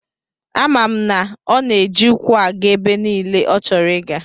Ama m na ọ na-eji ụkwụ aga ebe niile ọchọrọ ịga.